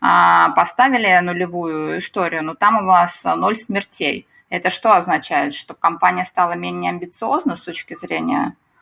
поставили нулевую историю но там у вас ноль смертей это что означает что компания стала менее амбициозна с точки зрения